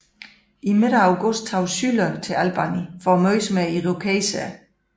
I midten af august tog Schuyler til Albany for at mødes med Irokeserne